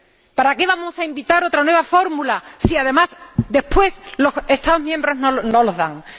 ¿Para qué vamos a inventar otra nueva fórmula si, además, después los Estados miembros no los conceden?